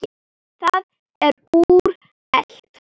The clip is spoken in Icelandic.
Það er úrelt.